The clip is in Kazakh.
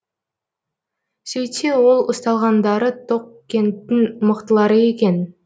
сөйтсе ол ұсталғандары тоқкенттің мықтылары екен